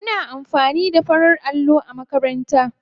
Muna amfani da farar allo a makaranta ta.